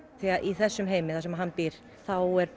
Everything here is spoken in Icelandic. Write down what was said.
því í þessum heimi sem hann býr þá er